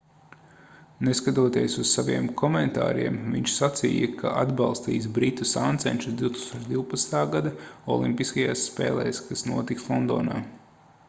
neskatoties uz saviem komentāriem viņš sacīja ka atbalstīs britu sāncenšus 2012. gada olimpiskajās spēlēs kas notiks londonā